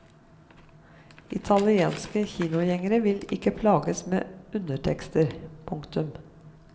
Italienske kinogjengere vil ikke plages med undertekster. punktum